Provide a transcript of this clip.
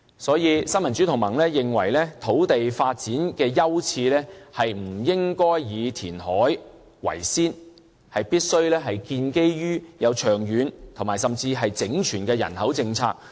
所以，新民主同盟認為，土地發展的優次不應以填海為先，而必須建基於長遠而整全的人口政策。